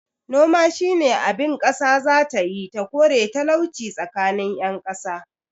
Noma shine abin kasa zatayi ta kore talauci tsakanin yan kasa